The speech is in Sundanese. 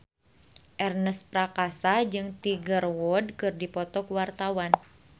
Ernest Prakasa jeung Tiger Wood keur dipoto ku wartawan